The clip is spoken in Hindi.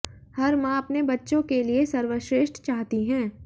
हर मां अपने बच्चों के लिए सर्वश्रेष्ठ चाहती हैं